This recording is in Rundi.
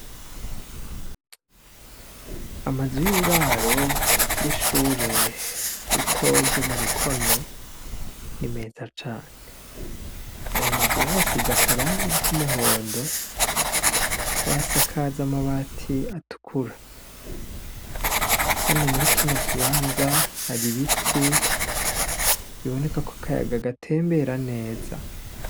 Amazu yuburaro yishure ritoya ryo murukonwe ni meza cane, ayo mazu bayasize akarangi kumuhondo bayasakaza amabati atukura, hano murikino kibanza hari ibiti bibonekako akayaga gatembera neza.